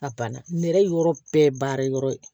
A banna nɛrɛ yɔrɔ bɛɛ baara yɔrɔ ye